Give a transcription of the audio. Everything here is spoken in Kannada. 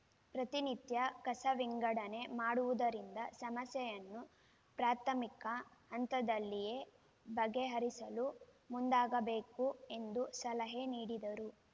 ಪ್ರತಿ ನಿತ್ಯ ಕಸ ವಿಂಗಡಣೆ ಮಾಡುವುದರಿಂದ ಸಮಸ್ಯೆಯನ್ನು ಪ್ರಾಥಮಿಕ ಹಂತದಲ್ಲಿಯೇ ಬಗೆಹರಿಸಲು ಮುಂದಾಗಬೇಕು ಎಂದು ಸಲಹೆ ನೀಡಿದರು